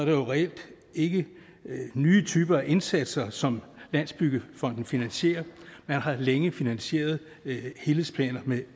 jo reelt ikke nye typer af indsatser som landsbyggefonden finansierer man har længe finansieret helhedsplaner med